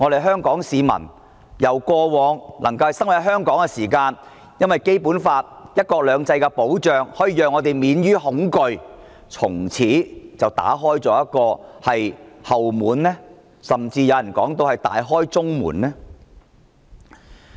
香港市民過往在香港生活，因為有《基本法》"一國兩制"的保障，可以免於恐懼，但修例後會否從此打開一道後門，甚至有人說，是大開中門？